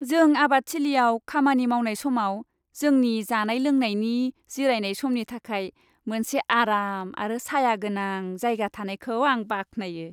जों आबादथिलियाव खामानि मावनाय समाव जोंनि जानाय लोंनायनि जिरायनाय समनि थाखाय मोनसे आराम आरो सायागोनां जायगा थानायखौ आं बाख्नायो।